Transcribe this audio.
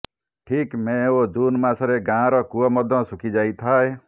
ଠିକ୍ ମେ ଓ ଜୁନ ମାସରେ ଗାଁର କୂଅ ମଧ୍ୟ ଶୁଖି ଯାଇଥାଏ